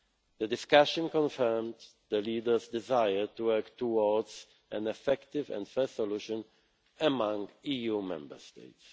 The discussion confirmed the leaders' desire to work towards an effective and fair solution among EU Member States.